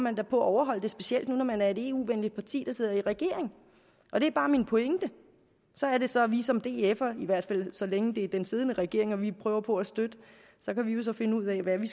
at overholde det specielt når man er et eu venligt parti der sidder i regering og det er bare min pointe så er det så at vi som df’ere i hvert fald så længe det er den siddende regering vi prøver på at støtte så kan finde ud af hvad det